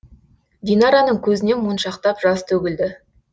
динараның көзінен моншақтап жас төгілді